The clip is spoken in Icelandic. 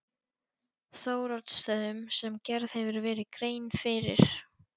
Þóroddsstöðum sem gerð hefur verið grein fyrir.